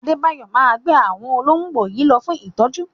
Adébáyò máa gbé àwọn ológbò yìí lọ fún ìtọ́jú.